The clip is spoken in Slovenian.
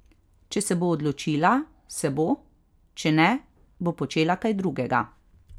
Če se bo odločila, se bo, če ne, bo počela kaj drugega.